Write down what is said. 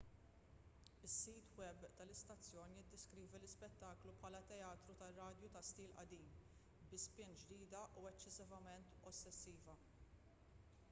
is-sit web tal-istazzjon jiddeskrivi l-ispettaklu bħala teatru tar-radju ta' stil qadim bi spin ġdida u eċċessivament ossessiva